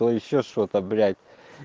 ещё что-то блять